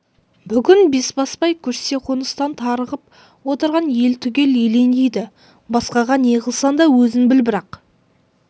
бүгін бесбасбай көшсе қоныстан тарығып отырған ел түгел елеңдейді басқаға не қылсаң да өзің біл бірақ